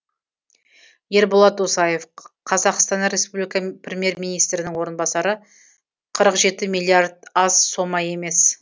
ерболат досаев қазақстан республика премьер министрінің орынбасары қырық жеті миллиард аз сома емес